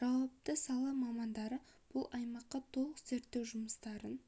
жауапты сала мамандары бұл аймаққа толық зерттеу жұмыстарын